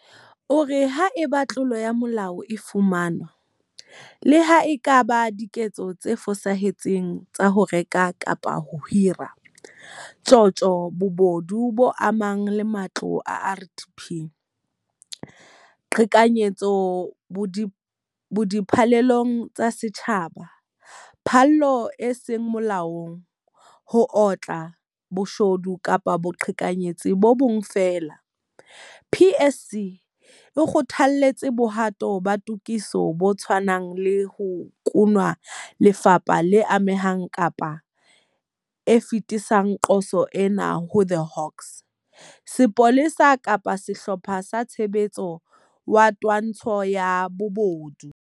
O re haeba tlolo ya molao e fumanwa - le ha e ka ba diketso tse fosahetseng tsa ho reka kapa ho hira, tjotjo, bobodu bo amanang le matlo a RDP, boqhekanyetsi bo di phallelong tsa setjhaba, phallo e seng molaong, ho otla, bo shodu kapa boqhekanyetsi bo bong feela - PSC e kgothaletsa bohato ba tokiso bo tshwane lang ho nkuwa ke lefapha le amehang kapa e fetisetse qoso ena ho The Hawks, Sepolesa kapa Sehlopha sa Tshebetso sa Twantsho ya Bobodu.